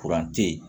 tɛ yen